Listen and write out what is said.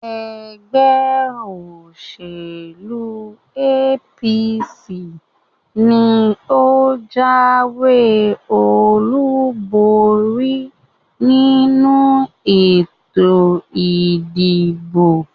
ẹgbẹ́-òsèlú APC ni ó jáwé-olúborí nínú ètò ìdìbò.